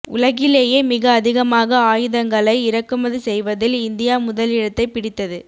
உலகிலேயே மிக அதிகமாக ஆயுதங்களை இறக்குமதி செய்வதில் இந்தியா முதலிடத்தைப் பிடித்தது